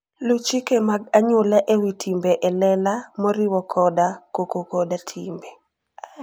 Luw chike mag anyuola e wi timbe e lela, moriwo koda koko koda timbe.